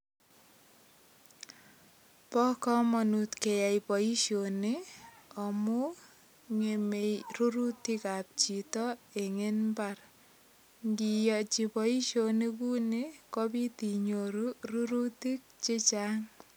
Bo kamanut keyai boisioni amu ngemei rurutikab chito eng imbar. Ngiyochi boisionik ku ni kopit inyoru ruritik chengang.